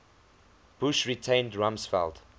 bush retained rumsfeld